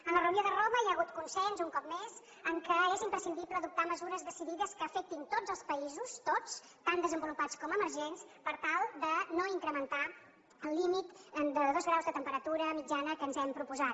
en la reunió de roma hi ha hagut consens un cop més en el fet que és imprescindible adoptar mesures decidides que afectin tots els països tots tant desenvolupats com emergents per tal de no incrementar el límit de dos graus de temperatura mitjana que ens hem proposat